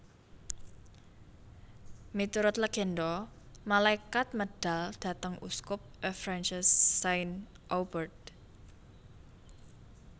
Miturut legenda malaikat medal dhateng uskup Avranches Saint Aubert